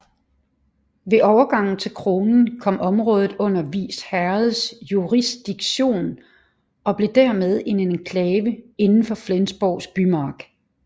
Ved overgangen til kronen kom området under Vis Herreds jurisdiktion og blev dermed en enklave inden for Flensborgs bymark